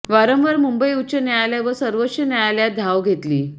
वारंवार मुंबई उच्च न्यायालय व सर्वोच्च न्यायालयात धाव घेतली